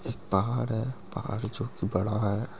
एक पहाड़ है पहाड़ जो की बड़ा है ।